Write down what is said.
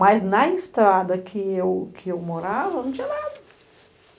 Mas, na estrada que eu, que eu morava, não tinha nada.